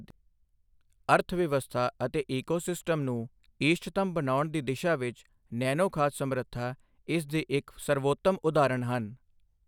ਅਰਥਵਿਵਸਥਾ ਅਤੇ ਈਕੋਸਿਸਟਮ ਨੂੰ ਇਸ਼ਟਤਮ ਬਣਾਉਣ ਦੀ ਦਿਸ਼ਾ ਵਿੱਚ ਨੈਨੋ ਖਾਦ ਸਮਰੱਥਾ ਇਸ ਦੀ ਇੱਕ ਸਰਵਉੱਤਮ ਉਦਹਾਰਨ ਹਨ।